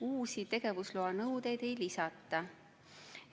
Uusi tegevusloa nõudeid ei lisata.